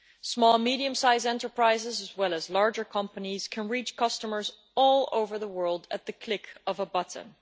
Small and medium sized enterprises, as well as larger companies, can reach customers all over the world at the click of a button.